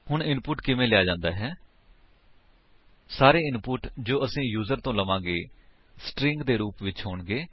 ਹੁਣ ਇਨਪੁਟ ਕਿਵੇਂ ਲਿਆ ਜਾਂਦਾ ਹੈ160 ਸਾਰੇ ਇਨਪੁਟ ਜੋ ਅਸੀ ਯੂਜ਼ਰ ਤੋ ਲਵਾਂਗੇ ਸਟ੍ਰਿੰਗ ਦੇ ਰੂਪ ਵਿੱਚ ਹੋਣਗੇ